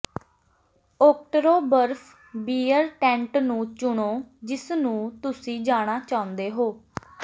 ਓਕਟਰੋਬਰਫ beer tent ਨੂੰ ਚੁਣੋ ਜਿਸਨੂੰ ਤੁਸੀਂ ਜਾਣਾ ਚਾਹੁੰਦੇ ਹੋ